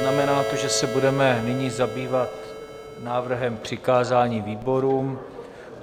Znamená to, že se budeme nyní zabývat návrhem přikázání výborům.